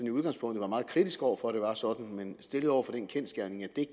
i udgangspunktet var meget kritisk over for at det var sådan men stillet over for den kendsgerning at det